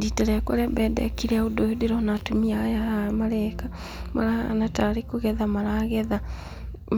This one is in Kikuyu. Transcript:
Rita rĩakwa rĩa mbere ndekire ũndũ ũyũ ndĩrona atumia aya haha mareka, marahana tarĩ kũgetha maragetha